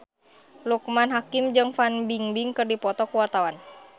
Loekman Hakim jeung Fan Bingbing keur dipoto ku wartawan